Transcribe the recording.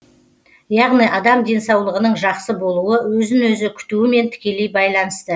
яғни адам денсаулығының жақсы болуы өзін өзі күтуімен тікелей байланысты